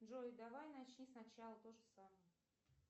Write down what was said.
джой давай начни сначала тоже самое